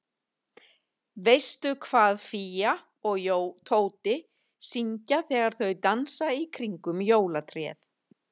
Veistu hvað Fía og Tóti syngja þegar þau dansa í kringum jólatréð?